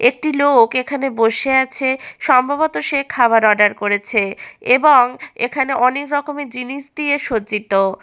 একটি লোক এখানে বসে আছে সম্ভবত সে খাবার অর্ডার করেছে এবং এখানে অনেক রকমের জিনিস দিয়ে সজ্জিত।